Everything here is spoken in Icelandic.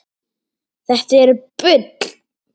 Þetta er bull!